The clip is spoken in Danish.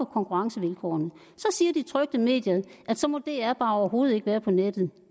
konkurrencevilkårene så siger de trykte medier at så må dr bare overhovedet ikke være på nettet